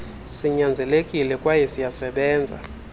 sinyanzelekile kwayw siyasebenza